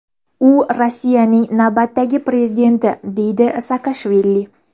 U Rossiyaning navbatdagi prezidenti”, deydi Saakashvili.